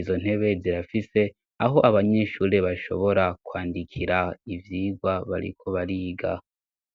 izo ntebe zirafise aho abanyeshuri bashobora kwandikira ibyigwa bariko bariga.